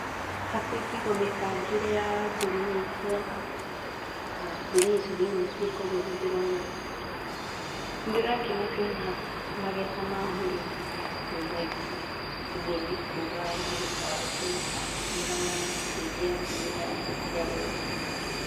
Hakwa ingiuga mĩbangĩra ya ngunia icio, na ngũnia icio nĩ nyingĩ koguo nĩ ndĩrona. Nĩ ndĩrakena ndona magetha ma mũrĩmi me maingĩ, ũguo nĩ kuga mũgũnda wake nĩ ũrateithia mĩmera yake ĩciare wega.